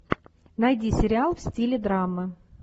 найди сериал в стиле драма